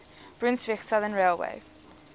brunswick southern railway